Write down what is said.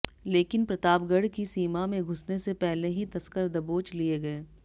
लेकिन प्रतापगढ़ की सीमा में घुसने से पहले ही तस्कर दबोच लिये गये